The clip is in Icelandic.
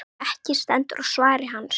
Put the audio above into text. Ekki stendur á svari hans.